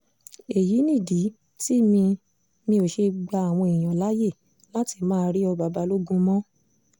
èyí nìdí tí mi mi ò ṣe gba àwọn èèyàn láàyè láti máa rí ọba balógun mọ́